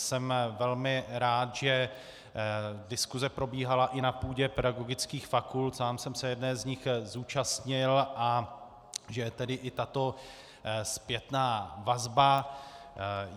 Jsem velmi rád, že diskuse probíhala i na půdě pedagogických fakult, sám jsem se jedné z nich zúčastnil, a že je tedy i tato zpětná vazba.